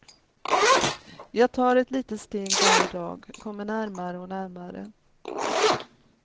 Jag tar ett litet steg varje dag, kommer närmare och närmare.